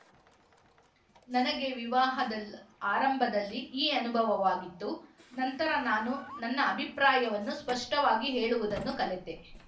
ನನಗೆ ವಿವಾಹದಲ್ ಆರಂಭದಲ್ಲಿ ಈ ಅನುಭವವಾಗಿತ್ತು ನಂತರ ನಾನು ನನ್ನ ಅಭಿಪ್ರಾಯವನ್ನು ಸ್ಪಷ್ಟವಾಗಿ ಹೇಳುವುದನ್ನು ಕಲೆತೆ